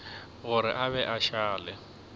gore a be a šale